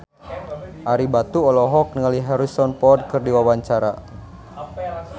Ario Batu olohok ningali Harrison Ford keur diwawancara